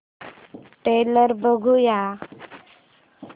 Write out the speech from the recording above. trailer बघूया